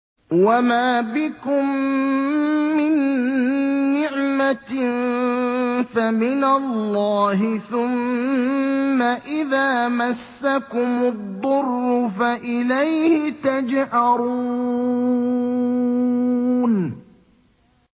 وَمَا بِكُم مِّن نِّعْمَةٍ فَمِنَ اللَّهِ ۖ ثُمَّ إِذَا مَسَّكُمُ الضُّرُّ فَإِلَيْهِ تَجْأَرُونَ